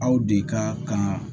Aw de ka kan